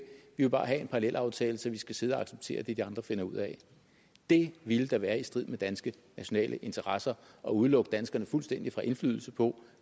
vil bare have en parallelaftale så vi skal sidde og acceptere det de andre finder ud af det ville da være i strid med danske nationale interesser at udelukke danskerne fuldstændig fra indflydelse på